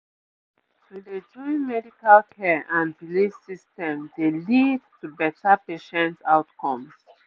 to dey join medical care and belief systems dey lead to better patient outcomes